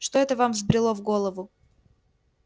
что это вам взбрело в голову